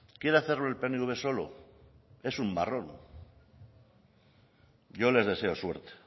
quiere hacerlo el pnv solo es un marrón yo les deseo suerte